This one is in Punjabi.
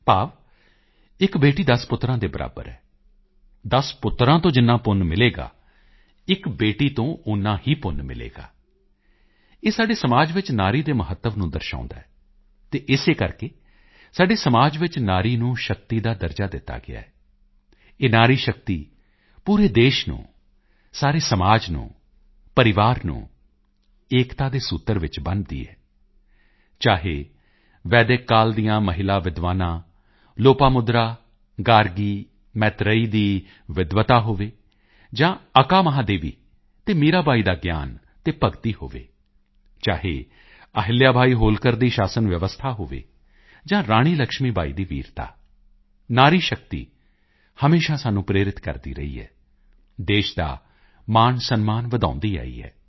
ਭਾਵ ਇੱਕ ਬੇਟੀ 10 ਪੁੱਤਰਾਂ ਦੇ ਬਰਾਬਰ ਹੈ 10 ਪੁੱਤਰਾਂ ਤੋਂ ਜਿੰਨਾ ਪੁੰਨ ਮਿਲੇਗਾ ਇੱਕ ਬੇਟੀ ਤੋਂ ਓਨਾ ਹੀ ਪੁੰਨ ਮਿਲੇਗਾ ਇਹ ਸਾਡੇ ਸਮਾਜ ਵਿੱਚ ਨਾਰੀ ਦੇ ਮਹੱਤਵ ਨੂੰ ਦਰਸਾਉਂਦਾ ਹੈ ਅਤੇ ਇਸੇ ਕਰਕੇ ਸਾਡੇ ਸਮਾਜ ਵਿੱਚ ਨਾਰੀ ਨੂੰ ਸ਼ਕਤੀ ਦਾ ਦਰਜਾ ਦਿੱਤਾ ਗਿਆ ਹੈ ਇਹ ਨਾਰੀ ਸ਼ਕਤੀ ਪੂਰੇ ਦੇਸ਼ ਨੂੰ ਸਾਰੇ ਸਮਾਜ ਨੂੰ ਪਰਿਵਾਰ ਨੂੰ ਏਕਤਾ ਦੇ ਸੂਤਰ ਵਿੱਚ ਬੰਨ੍ਹਦੀ ਹੈ ਚਾਹੇ ਵੈਦਿਕ ਕਾਲ ਦੀਆਂ ਮਹਿਲਾ ਵਿਦਵਾਨਾਂ ਲੋਪਾਮੁਦਰਾ ਗਾਰਗੀ ਮੈਤ੍ਰੇਈ ਦੀ ਵਿਦਵਤਾ ਹੋਵੇ ਜਾਂ ਅੱਕਾ ਮਹਾਦੇਵੀ ਅਤੇ ਮੀਰਾ ਬਾਈ ਦਾ ਗਿਆਨ ਤੇ ਭਗਤੀ ਹੋਵੇ ਚਾਹੇ ਅਹਿੱਲਿਆ ਬਾਈ ਹੋਲਕਰ ਦੀ ਸ਼ਾਸਨ ਵਿਵਸਥਾ ਹੋਵੇ ਜਾਂ ਰਾਣੀ ਲਕਸ਼ਮੀ ਬਾਈ ਦੀ ਵੀਰਤਾ ਨਾਰੀ ਸ਼ਕਤੀ ਹਮੇਸ਼ਾ ਸਾਨੂੰ ਪ੍ਰੇਰਿਤ ਕਰਦੀ ਰਹੀ ਹੈ ਦੇਸ਼ ਦਾ ਮਾਣਸਨਮਾਨ ਵਧਾਉਂਦੀ ਆਈ ਹੈ